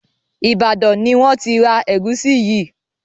Ibadan ní wón tí rá egusi yí